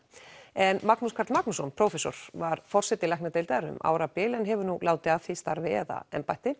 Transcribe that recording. en Magnús Karl Magnússon prófessor var forseti læknadeildar um árabil en hefur nú látið af því starfi eða embætti